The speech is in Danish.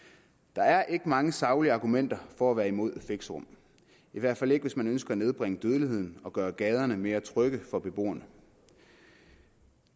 der er ikke mange saglige argumenter for at være imod fixerum i hvert fald ikke hvis man ønsker at nedbringe dødeligheden og gøre gaderne mere trygge for beboerne